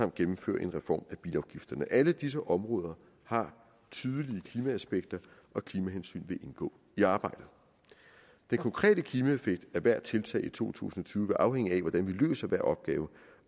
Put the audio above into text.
gennemføre en reform af bilafgifterne alle disse områder har tydelige klimaaspekter og klimahensyn vil indgå i arbejdet den konkrete klimaeffekt af hvert tiltag i to tusind og tyve vil afhænge af hvordan vi løser hver opgave